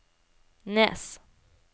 Nes